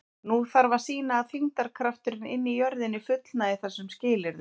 Nú þarf að sýna að þyngdarkrafturinn inni í jörðinni fullnægi þessum skilyrðum.